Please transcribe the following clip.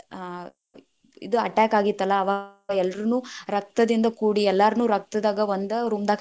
ಹಾ ಇದ್‌ attack ಆಗಿತ್ತಲ್ಲಾ ಅವಾಗ ಎಲ್ಲಾನು೯ ರಕ್ತದಿಂದ ಕೂಡಿ ಎಲ್ಲಾನು೯ ರಕ್ತದಾಗ ಒಂದ್ room ದಾಗ ಹಾಕಿ.